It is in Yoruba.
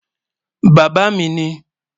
Bàbá mi ní